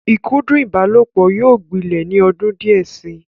ikudun ìbálòpọ̀ yóò gbilẹ̀ ní ọdún díẹ̀ si.